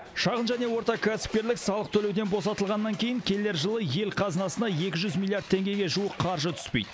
шағын және орта кәсіпкерлік салық төлеуден босатылғаннан кейін келер жылы ел қазынасына екі жүз миллиард теңгеге жуық қаржы түспейді